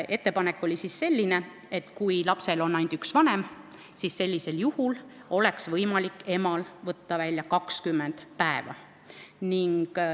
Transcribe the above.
Ettepanek oli selline, et kui lapsel on ainult üks vanem, siis oleks võimalik emal võtta välja 20 päeva.